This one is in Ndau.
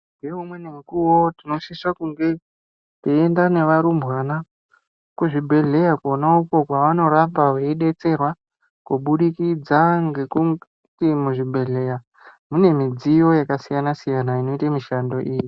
Ngeumweni mukuwo tinosisa kunge teienda nevarumbwana, kuzvibhehleya kwona uko kwevanorapa veidetserwa kubudikidza ngekuti muzvibhehleya mune midziyo yakasiyana-siyana inoite mishando iyi.